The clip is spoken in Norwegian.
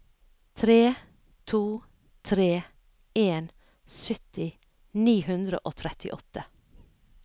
tre to tre en sytti ni hundre og trettiåtte